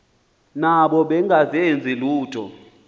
nabo bengazenzi lutho